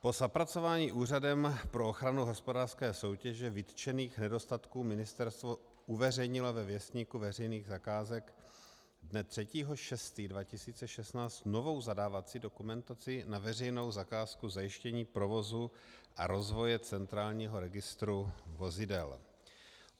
Po zapracování Úřadem pro ochranu hospodářské soutěže vytčených nedostatků ministerstvo uveřejnilo ve Věstníku veřejných zakázek dne 3. 6. 2016 novou zadávací dokumentaci na veřejnou zakázku Zajištění provozu a rozvoje Centrálního registru vozidel.